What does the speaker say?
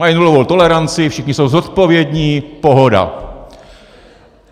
Mají nulovou toleranci, všichni jsou zodpovědní, pohoda.